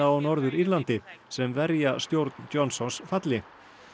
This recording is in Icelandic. á Norður Írlandi sem verja stjórn Johnsons falli